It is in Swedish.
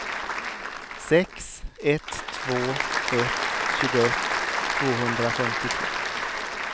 sex ett två ett tjugoett tvåhundrafemtiotre